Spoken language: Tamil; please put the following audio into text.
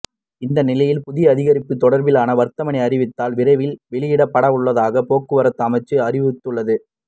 இந்நிலையில் புதிய அதிகரிப்பு தொடர்ப்பிலான வர்த்தமானி அறிவித்தல் விரைவில் வௌியிடப்படவுள்ளதாக போக்குவரத்து அமைச்சு அறிவித்துள்ளது